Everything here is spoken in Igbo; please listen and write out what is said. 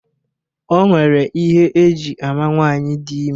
O nwere ihe eji ama nwaanyị dị ime